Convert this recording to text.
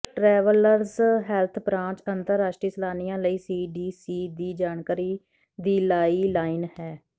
travellers health branch ਅੰਤਰਰਾਸ਼ਟਰੀ ਸੈਲਾਨੀਆਂ ਲਈ ਸੀਡੀਸੀ ਦੀ ਜਾਣਕਾਰੀ ਦੀ ਲਾਈਲਾਈਨ ਹੈ